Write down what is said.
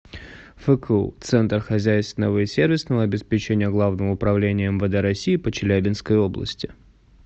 фку центр хозяйственного и сервисного обеспечения главного управления мвд россии по челябинской области